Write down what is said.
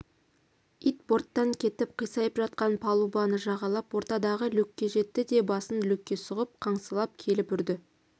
ит борттан кетіп қисайып жатқан палубаны жағалап ортадағы люкке жетті де басын люкке сұғып қаңсылап келіп үрді